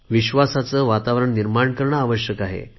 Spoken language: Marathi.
विश्वासाचे वातावरण निर्माण करणे आवश्यक आहे